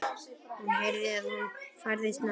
Hún heyrði að hann færðist nær.